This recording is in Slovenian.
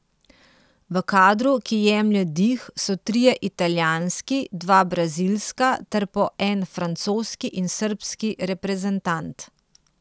V kadru, ki jemlje dih, so trije italijanski, dva brazilska ter po en francoski in srbski reprezentant.